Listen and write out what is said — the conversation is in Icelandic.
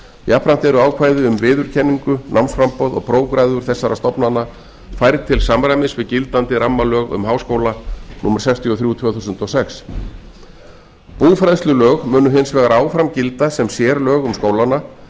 jafnframt eru ákvæði um viðurkenningu námsframboð og prófgráður þessara stofnana færð til samræmis við gildandi rammalög um háskóla númer sextíu og þrjú tvö þúsund og sex búfræðslulög munu hins vegar áfram gilda sem sérlög um skólana